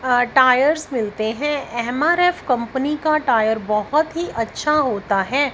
अह tyres मिलते हैं MRF company का टायर बहुत ही अच्छा होता है।